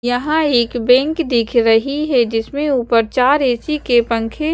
यहाँ एक बैंक दिख रही है जिसमे ऊपर चार ए_सी के पंखे --